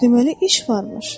Deməli, iş varmış.